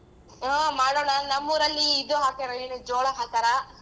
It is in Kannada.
ಹ್ಮ್ ಮಾಡೋಣ ನಮ್ಮೂರಲ್ಲಿ ಇದ್ ಹಾಕ್ಯಾರ ಏನ್ ಜೋಳ ಹಕಾರ.